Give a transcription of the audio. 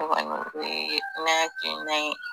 O kɔni o ye ne akilina ye